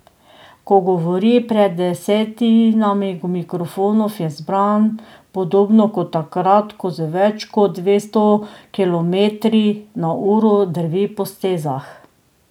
Ko govori pred desetinami mikrofonov, je zbran podobno kot takrat, ko z več kot dvesto kilometri na uro drvi po stezah.